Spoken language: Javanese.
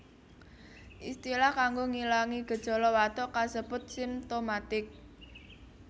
Istilah kanggo ngilangi gejala watuk kasebut simtomatik